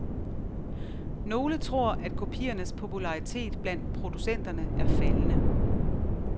Nogle tror, at kopiernes popularitet blandt producenterne er faldende.